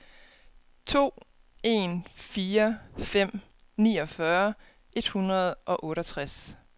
to en fire fem niogfyrre et hundrede og otteogtres